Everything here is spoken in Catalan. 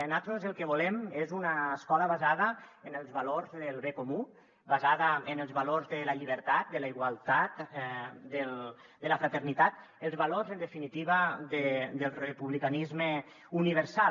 nosaltres el que volem és una escola basada en els valors del bé comú basada en els valors de la llibertat de la igualtat de la fraternitat els valors en definitiva del republicanisme universal